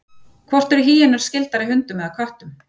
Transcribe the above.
Hvort eru hýenur skyldari hundum eða köttum?